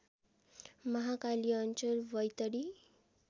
महाकाली अञ्चल बैतडी